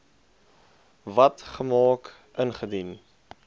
wet gemaak ingedien